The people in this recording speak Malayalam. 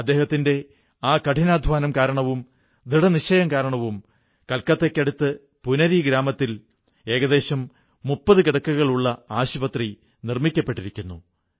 അദ്ദേഹത്തിന്റെ ആ കഠിനാധ്വാനവും ദൃഢനിശ്ചയം കാരണം കൊൽക്കത്തയ്ക്കടുത്ത് പുനരി ഗ്രാമത്തിൽ ഏകദശം 30 കിടക്കകളുള്ള ആശുപത്രി നിർമ്മിക്കപ്പെട്ടിരിക്കുന്നു